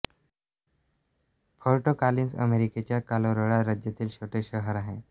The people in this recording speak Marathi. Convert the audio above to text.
फोर्ट कॉलिन्स अमेरिकेच्या कॉलोराडो राज्यातील छोटे शहर आहे